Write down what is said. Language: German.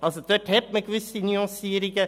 Dort bestehen also gewisse Nuancierungen.